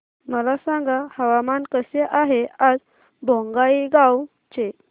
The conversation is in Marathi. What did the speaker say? मला सांगा हवामान कसे आहे आज बोंगाईगांव चे